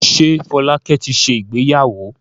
Ṣé Fọlákẹ́ ti ṣe ìgbéyàwó?